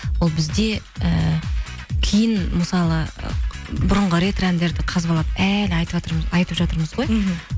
ол бізде ііі кейін мысалы бұрынғы ретро әндерді қазбалап әлі айтып жатырмызғой мхм